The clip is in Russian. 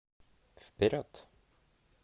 вперед